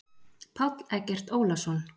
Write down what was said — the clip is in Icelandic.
Páll Eggert Ólason.